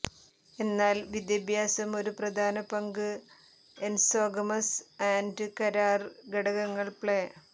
എന്നാൽ വിദ്യാഭ്യാസം ഒരു പ്രധാന പങ്ക് എൻസോഗമസ്സ് ആൻഡ് കരാര് ഘടകങ്ങൾ പ്ലേ